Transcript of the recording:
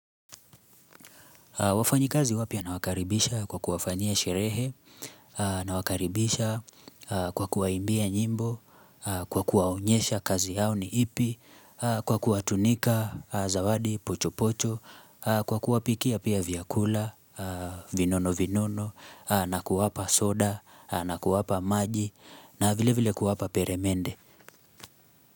Wafanyi kazi wapya na wakaribisha kwa kuwafanyia sherehe, nawakaribisha kwa kuwaimbia nyimbo, kwa kuwaonyesha kazi yao ni ipi, kwa kuwatunika zawadi pocho pocho, kwa kuwapikia pia vyakula, vinono vinono, na kuwapa soda, na kuwapa maji, na vile vile kuwapa peremende.